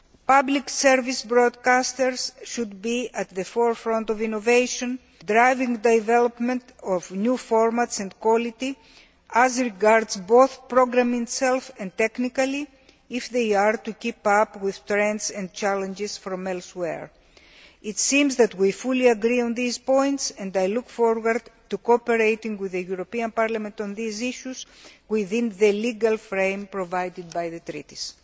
Public service broadcasters should be at the forefront of innovation, driving the development of new formats and quality, as regards both the programme itself and technically, if they are to keep up with trends and challenges from elsewhere. It seems that we fully agree on these points and I look forward to cooperating with Parliament on these issues within the legal framework provided by the treaties.